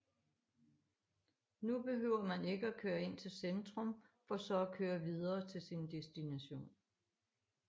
Nu behøver man ikke at køre ind til centrum for så at køre videre til sin destination